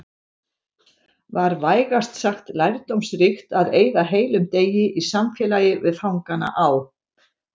Var vægast sagt lærdómsríkt að eyða heilum degi í samfélagi við fangana á